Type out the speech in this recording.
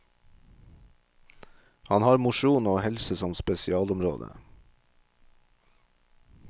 Han har mosjon og helse som spesialområde.